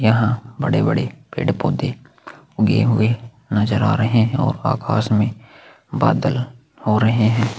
यहाँ बड़े - बड़े पेड़ - पौधे उगे हुए नजर आ रहे है और आकाश में बादल हो रहे है।